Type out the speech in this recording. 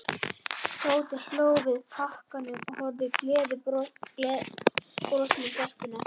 Tóti hló, tók við pakkanum og horfði gleiðbrosandi á stelpuna.